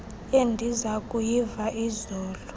endiza kuyiva izolo